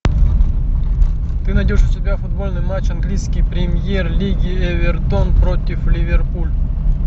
ты найдешь у себя футбольный матч английский премьер лиги эвертон против ливерпуль